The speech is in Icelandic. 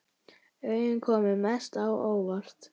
Augun komu mest á óvart.